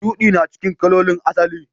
Shudi na cikin kalolin asali.